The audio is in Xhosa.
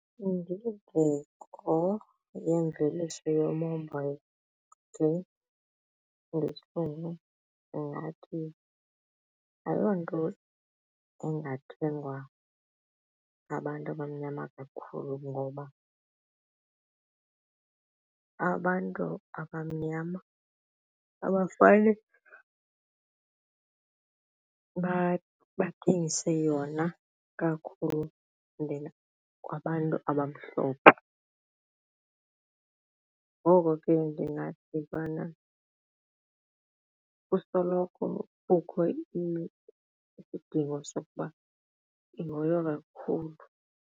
Indingeko yemveliso yomoba ndingathi ayonto engathengwa ngabantu abamnyama kakhulu ngoba abantu abamnyama abafane bathengise yona kakhulu kwabantu abamhlophe ngoko ke ndingathi bana kusoloko kukho isidingo sokuba ihoywe kakhulu.